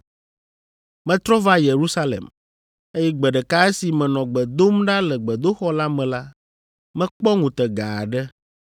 “Metrɔ va Yerusalem, eye gbe ɖeka esi menɔ gbe dom ɖa le gbedoxɔ la me la, mekpɔ ŋutega aɖe,